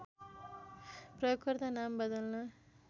प्रयोगकर्ता नाम बदल्न